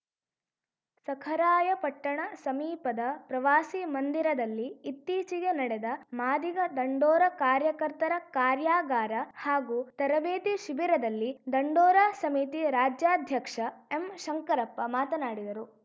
ಸಖರಾಯಪಟ್ಟಣ ಸಮೀಪದ ಪ್ರವಾಸಿ ಮಂದಿರದಲ್ಲಿ ಇತ್ತೀಚೆಗೆ ನಡೆದ ಮಾದಿಗ ದಂಡೋರ ಕಾರ್ಯಕರ್ತರ ಕಾರ್ಯಾಗಾರ ಹಾಗೂ ತರಬೇತಿ ಶಿಬಿರದಲ್ಲಿ ದಂಡೋರ ಸಮಿತಿ ರಾಜ್ಯಾಧ್ಯಕ್ಷ ಎಂ ಶಂಕರಪ್ಪ ಮಾತನಾಡಿದರು